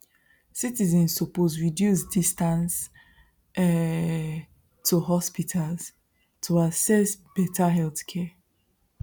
citizens suppose reduce distance um to hospitals to access better healthcare